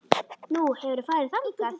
Nú, hefurðu farið þangað?